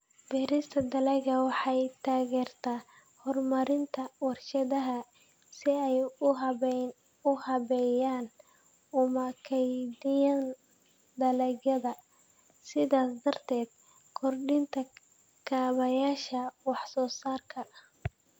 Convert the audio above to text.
Beerista dalaggu waxay taageertaa horumarinta warshadaha si ay u habeeyaan una kaydiyaan dalagyada, sidaas darteed kordhinta kaabayaasha wax soo saarka.